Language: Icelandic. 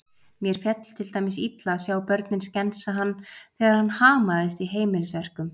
Mér féll til dæmis illa að sjá börnin skensa hann þegar hann hamaðist í heimilisverkum.